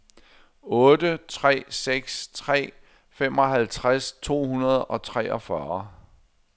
otte tre seks tre femoghalvtreds to hundrede og treogfyrre